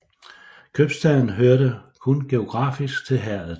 Købstaden hørte kun geografisk til herredet